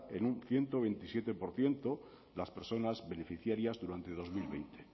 en un ciento veintisiete por ciento las personas beneficiarias durante dos mil veinte